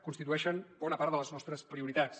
constitueixen bona part de les nostres prioritats